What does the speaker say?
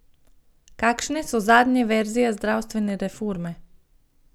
Kakšne so zadnje verzije zdravstvene reforme?